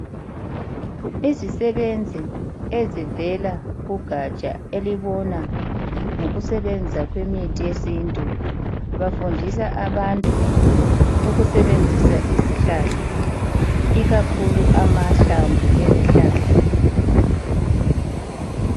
Imisebenzi ezivela kugatsha elibona ngokusebenzisa kwemithi yesintu. Bafundisa abantu ukusebenzisa izihlahla ikakhulu amahlamvu ezihlahla.